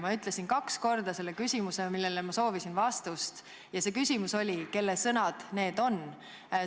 Ma ütlesin kaks korda küsimuse, millele ma soovisin vastust, ja see küsimus oli, kelle sõnad need on.